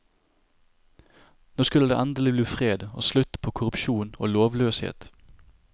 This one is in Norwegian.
Nå skulle det endelig bli fred og slutt på korrupsjon og lovløshet.